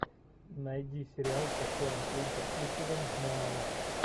найди сериал с актером клинтом иствудом муана